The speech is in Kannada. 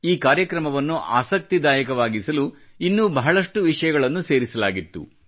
ಈ ಕಾರ್ಯಕ್ರಮವನ್ನು ಆಸಕ್ತಿದಾಯಕವಾಗಿಸಲು ಇನ್ನೂ ಬಹಳಷ್ಟು ವಿಷಯಗಳನ್ನೂ ಸೇರಿಸಲಾಗಿತ್ತು